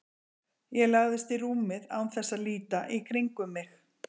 Ég lagðist í rúmið án þess að líta í kringum mig.